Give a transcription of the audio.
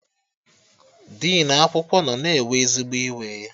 Dinu akwụkwọ nọ na-ewe ezigbo iwe